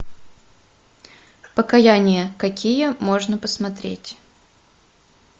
покаяние какие можно посмотреть